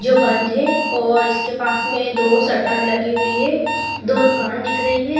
जो बंद है और इसके पास में दो शटर लगी हुई है दो दुकान दिख रही है।